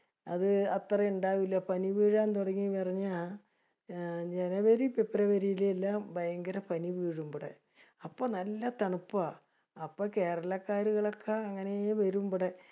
അത് അത്രേം ഇണ്ടാവൂല. പനി വീഴാൻ തുടങ്ങീന്ന് അറിഞ്ഞ അഹ് ജനുവരി ഫെബ്രുവരിയിൽ എല്ലാം ഭയങ്കര പനി വീഴും ഇബടെ. അപ്പൊ നല്ല തണുപ്പാ. അപ്പൊ കേരളക്കാരുകളൊക്കെ അങ്ങിനെ വരും ഇബടെ.